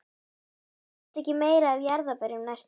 Ég þurfti ekki meira af jarðarberjum næstu árin.